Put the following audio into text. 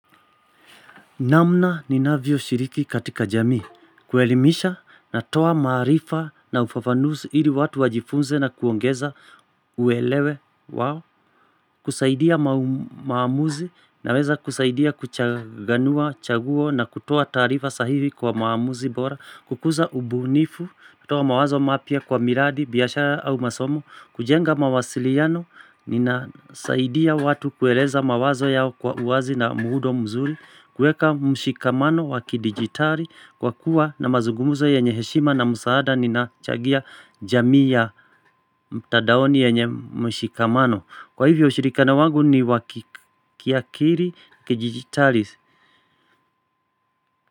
Namna ninavyo shiriki katika jamii. Kuelimisha, natoa maarifa na ufafanuzi hili watu wajifunze na kuongeza uelewe wao. Kusaidia maamuzi, naweza kusaidia kuchaganua, chaguo na kutoa taarifa sahihi kwa maamuzi bora. Kukuza ubunifu, kutoa mawazo mapya kwa miradi, biashara au masomo. Kujenga mawasiliano ninasaidia watu kueleza mawazo yao kwa uwazi na muundo mzuri kueka mshikamano wa kidigitali kwa kuwa na mazugumuzo yenye heshima na msaada nina changia jamii ya mtandaoni yenye mshikamano. Kwa hivyo ushirikano wangu ni wa kiakili kidijitali.